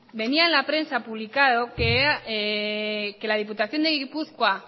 venía en la prensa publicado que la diputación de gipuzkoa